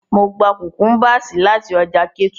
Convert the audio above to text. Mo gba cucumbers lati ọja Ketu.